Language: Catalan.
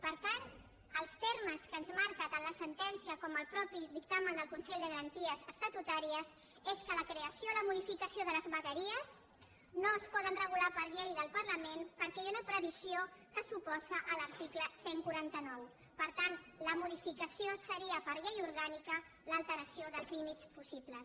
per tant els termes que ens marquen tant la sentència com el mateix dictamen del consell de garanties estatutàries són que la creació i la modificació de les vegueries no es poden regular per llei del parlament perquè hi ha una previsió que s’oposa a l’article cent i quaranta nou per tant la modificació seria per llei orgànica l’alteració dels límits possibles